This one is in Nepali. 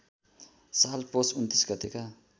साल पौष २९ गतेका